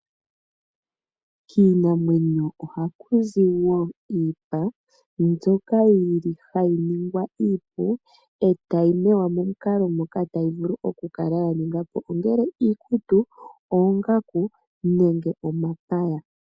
Kiinimamwenyo oha kuzi wo iipa mbyoka hayi ningwa iipu etayi mewa momukala moka tayi vulu ya ningwa po ongele iikutu, oongaku, nenge omapaya.